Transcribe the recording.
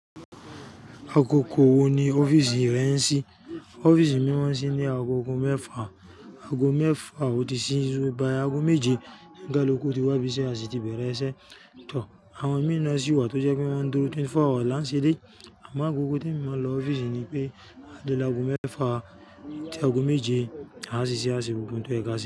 Agogo wo ni ọ́fíìsì rẹ ń sí? Ọ́fíìsì mí mọ́ ń sí ní ago ọgọ́ mẹ́fà, ago mẹ́fà òtí sí ṣú, by ago méje onikaluju ti wá ibíse, a sì ti bẹ̀rẹ̀ iṣẹ́. Tò, àwọn mìí tó jẹ́ pé wọ́n ń dúró 24hours la ń ṣe dé. Àmọ́ agogo tí èmi má ń lọ ọfisi nípé a dé lágo mẹ́fà tí ago méje a ṣiṣẹ́ a ṣe gbogbo ohun tó yẹ ká ṣe.